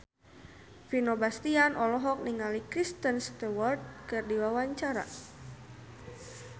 Vino Bastian olohok ningali Kristen Stewart keur diwawancara